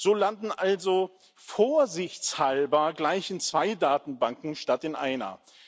Sie landen also vorsichtshalber gleich in zwei Datenbanken statt in einer.